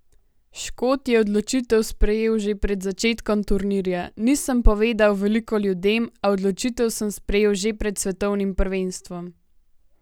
Škot je odločitev sprejel že pred začetkom turnirja: "Nisem povedal veliko ljudem, a odločitev sem sprejel že pred svetovnim prvenstvom.